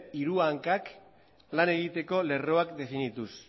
hiru hankan lan egiteko lerroak definituz